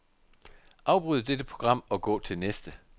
Afbryd dette program og gå til næste.